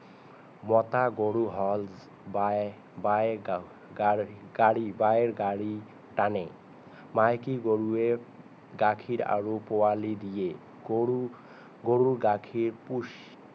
মতা গৰুৱে হল বাই বাই গাড়ী তানে মাইকী গৰুৱে গাখীৰ আৰু পোৱালি দিয়ে গৰু গৰু গাখীৰ পুষ্টি